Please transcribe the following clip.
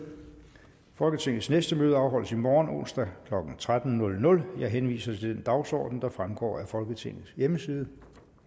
folketingets næste møde afholdes i morgen onsdag klokken tretten jeg henviser til den dagsorden der fremgår af folketingets hjemmeside